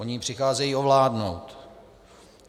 Oni ji přicházejí ovládnout.